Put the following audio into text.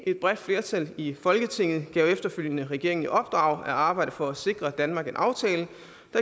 et bredt flertal i folketinget gav efterfølgende regeringen i opdrag at arbejde for at sikre danmark en aftale